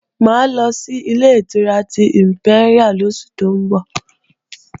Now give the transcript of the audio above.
Mà á lọ sí Ilé-ìtura ti ìmpẹ́ríà lóṣù tó ń bọ̀